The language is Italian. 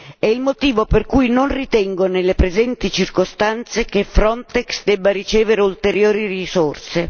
È il motivo per cui non ritengo, nelle presenti circostanze, che Frontex debba ricevere ulteriori risorse.